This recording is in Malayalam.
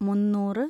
മുന്നൂറ്